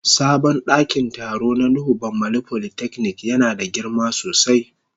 Sabon dakin taro na nuhu bamalli polytechnic yana da girma sosai.